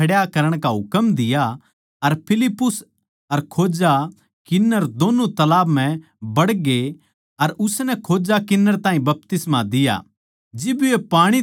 फेर उसनै रथ खड्या करण का हुकम दिया अर फिलिप्पुस अर खोजा किन्नर दोन्नु तालाब म्ह बड़गे अर उसनै खोजा किन्नर ताहीं बपतिस्मा दिया